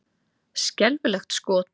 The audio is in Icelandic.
Skelfilegt skot!